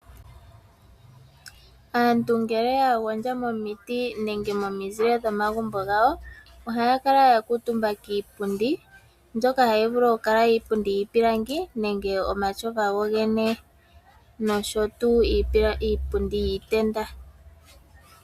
Aantu ngele ya gondja momiti nenge momizile dhomagumbo gawo ohaya kala ya kuutumba kiipundi, mbyoka hayi vulu okukala iipundi yiipilangi nenge omatyofa gogene nosho wo iipundi yiitenda.